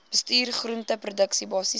bestuur groenteproduksie basiese